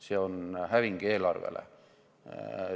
See on häving eelarvele.